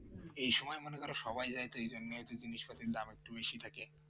এই সময় মনে করে সবাই যায় তো এইজন্য হয়তো তুমি সব কিছুর দাম একটু বেশি থাকে